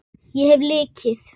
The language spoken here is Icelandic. Ég hef lykil.